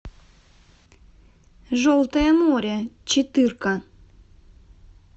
желтое море четырка